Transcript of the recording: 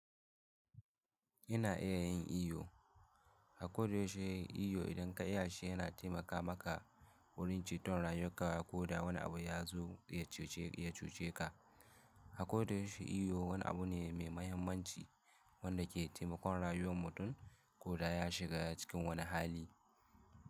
Ina iya yin iyo, Skoda yaushe yin iyo idan ka iya shi yana taimaka maka wurin ci ton rayuwar ka ko da wani abu ya zo ya cuce ka. Skoda yaushe iyo wani abu ne mai mahimmanci wanda ke taimakon rayuwar mutum ko da ya shiga cikin wani hali.